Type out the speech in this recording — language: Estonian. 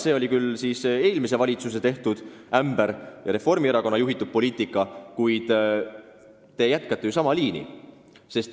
See oli küll eelmise valitsuse ämber ja Reformierakonna juhitud poliitika, kuid te jätkate ju sama liini.